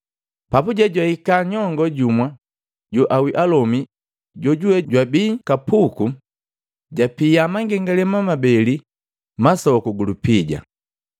Papuje jwahika nyongoo jumu joawii alomi jojuwe jwabii kapuku, japia mangengalema mabele masoku gulupija.